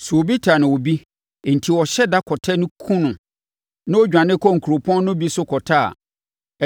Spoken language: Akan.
Sɛ obi tan obi enti ɔhyɛ da kɔtɛ no kumm no na ɔdwane kɔ nkuropɔn no bi so kɔtɛ a,